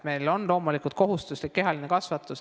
Meil on loomulikult kohustuslik kehaline kasvatus.